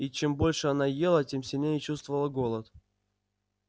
и чем больше она ела тем сильнее чувствовался голод